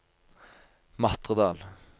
Matredal